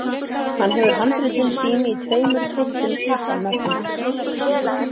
Hann hefur handritin sín í tveimur þykkum pappamöppum